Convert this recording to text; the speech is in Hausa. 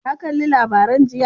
Ka kalli labarai jiya?